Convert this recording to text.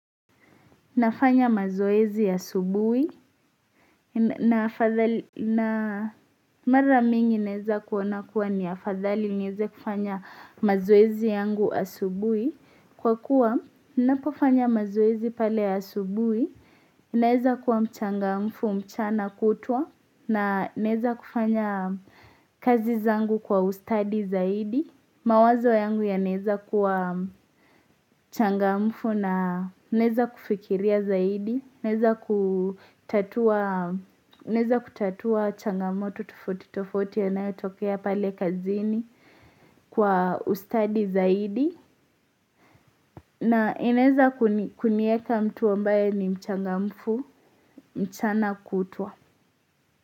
Nafanya mazoezi asubuhi na mara mingi naweza kuona kuwa ni afadhali niweze kufanya mazoezi yangu asubuhi. Kwa kuwa ninapofanya mazoezi pale asubuhi ninaweza kuwa mchangamfu mchana kutwa naweza kufanya kazi zangu kwa ustadi zaidi. Mawazo yangu yanaweza kuwa changamfu naweza kufikiria zaidi, naweza kutatua changamoto tofauti tofauti yanayotokea pale kazini kwa ustadi zaidi, na inaweza kunieka mtu ambaye ni mchangamfu, mchana kutwa.